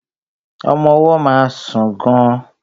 Ọmọ ọwọ́ má ń sùn gan.